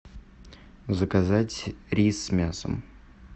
заказать рис с мясом